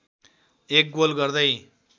एक गोल गर्दै